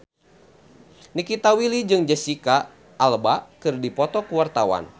Nikita Willy jeung Jesicca Alba keur dipoto ku wartawan